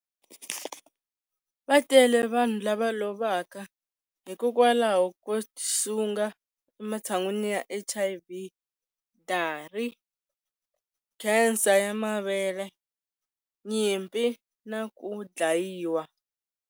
Va tele vanhu lava lovaka hikwalaho ko tisunga ematshan'wini ya HIV, dari, khensa ya mavele, nyimpi na ku dlayiwa.